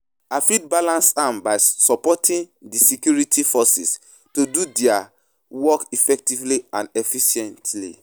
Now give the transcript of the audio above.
I fit balance am by supporting di security forces to do their work effectively and efficiently.